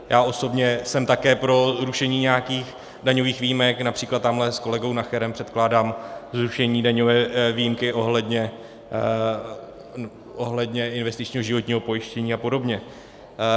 Já osobně jsem také pro zrušení nějakých daňových výjimek, například tamhle s kolegou Nacherem předkládám zrušení daňové výjimky ohledně investičního životního pojištění a podobně.